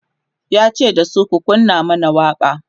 yace dasu "ku kunna man waƙa!"